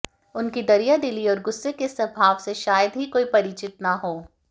उनकी दरिया दिली और गुस्से के स्वभाव से शायद ही कोई परिचित न हों